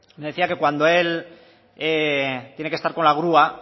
decía que cuando él tiene que estar con la grúa